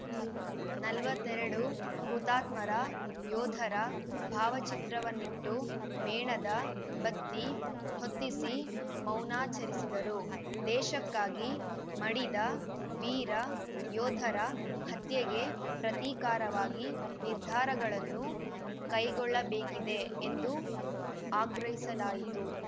ನಲವತ್ತೆರಡು ಹುತಾತ್ಮರ ಯೋಧರ ಭಾವಚಿತ್ರವನ್ನಿಟ್ಟು ಮೇಣದ ಬತ್ತಿ ಹೊತ್ತಿಸಿ ಮೌನಾಚರಿಸಿದರು ದೇಶಕ್ಕಾಗಿ ಮಡಿದ ವೀರ ಯೋಧರ ಹತ್ಯೆಗೆ ಪ್ರತಿಕಾರವಾಗಿ ನಿರ್ಧಾರಗಳನ್ನು ಕೈಗೊಳ್ಳಬೇಕಿದೆ ಎಂದು ಆಗ್ರಹಿಸಲಾಯಿತು